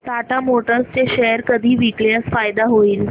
Tata Motors चे share कधी विकल्यास फायदा होईल